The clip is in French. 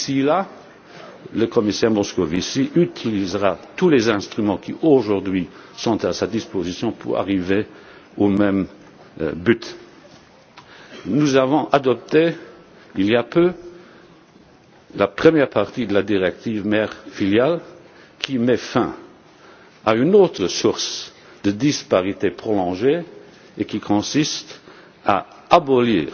D'ici là, le commissaire Moscovici utilisera tous les instruments qui, aujourd'hui, sont à sa disposition pour arriver au même but. Nous avons adopté, il y a peu, la première partie de la directive mère filiale, qui met fin à une autre source de disparités prolongées et qui consiste